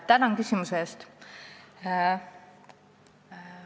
Tänan küsimuse eest!